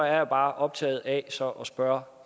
er bare optaget af så at spørge